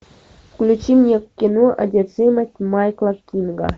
включи мне кино одержимость майкла кинга